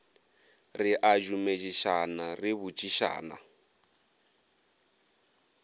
re a dumedišana re botšišana